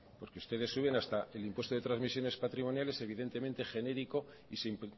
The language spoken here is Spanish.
porque ustedes suben hasta el impuesto de transmisiones patrimoniales evidentemente genérico y sin